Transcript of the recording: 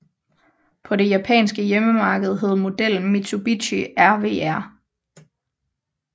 På det japanske hjemmemarked hed modellen Mitsubishi RVR